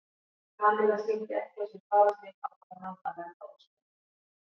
Kamilla sýndi ekki á sér fararsnið ákvað hann að verða að ósk hennar.